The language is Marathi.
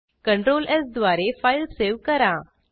Ctrl स् द्वारे फाईल सेव्ह करा